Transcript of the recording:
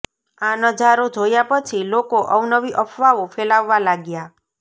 આ નજારો જોયાં પછી લોકો અવનવી અફવાઓ ફેલાવવા લાગ્યાં